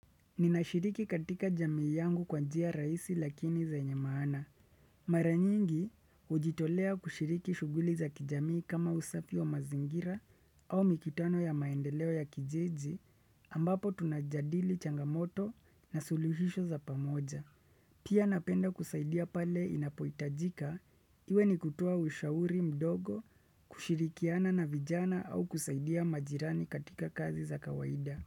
Ninashiriki katika jamii yangu kwa njia rahisi lakini venye maana. Mara nyingi, hujitolea kushiriki shughuli za kijamii kama usafi wa mazingira au mikutano ya maendeleo ya kijiji ambapo tunajadili changamoto na suluhisho za pamoja. Pia napenda kusaidia pale inapoitajika, iwe ni kutoa ushauri mdogo, kushirikiana na vijana au kusaidia majirani katika kazi za kawaida.